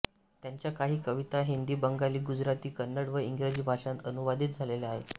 त्यांच्या काही कविता हिंदी बंगाली गुजराती कन्नड व इंग्रजी भाषांत अनुवादित झालेल्या आहेत